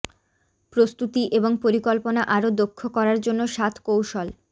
প্রস্তুতি এবং পরিকল্পনা আরো দক্ষ করার জন্য সাত কৌশল